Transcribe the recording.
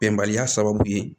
Bɛnbaliya sababu ye